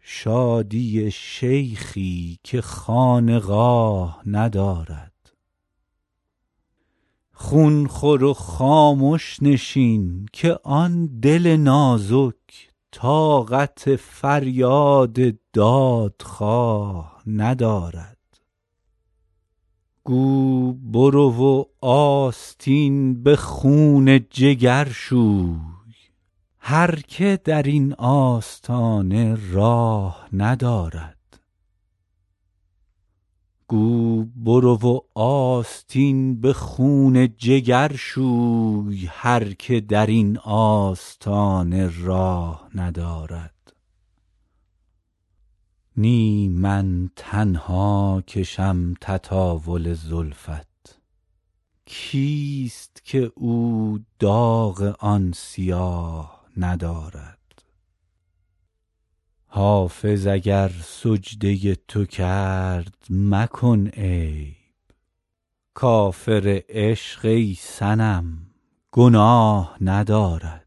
شادی شیخی که خانقاه ندارد خون خور و خامش نشین که آن دل نازک طاقت فریاد دادخواه ندارد گو برو و آستین به خون جگر شوی هر که در این آستانه راه ندارد نی من تنها کشم تطاول زلفت کیست که او داغ آن سیاه ندارد حافظ اگر سجده تو کرد مکن عیب کافر عشق ای صنم گناه ندارد